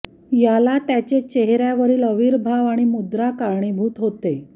याला त्याचे चेहर्यावरील आविर्भाव आणि मुद्रा कारणीभूत होते